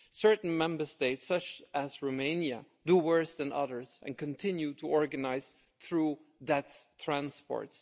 Certain Member States such as Romania do worse than others and continue to organise through that transport.